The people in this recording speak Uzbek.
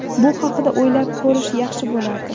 Bu haqda o‘ylab ko‘rish yaxshi bo‘lardi.